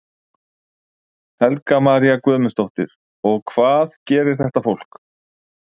Helga María Guðmundsdóttir: Og hvað gerir þetta fólk?